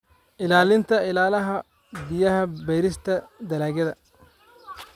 Ilaalinta Ilaha Biyaha Beerista dalagyada.